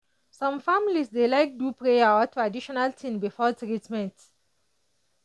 some families dey like do prayer or traditional thing before treatment.